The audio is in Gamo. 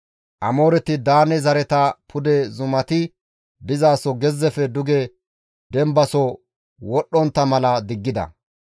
Amooreti Daane zareta pude zumati dizaso gezzefe duge dembaso wodhdhontta mala diggida.